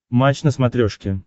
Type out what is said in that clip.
матч на смотрешке